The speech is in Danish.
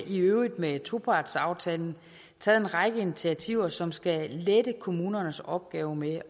i øvrigt med topartsaftalen taget en række initiativer som skal lette kommunernes opgave med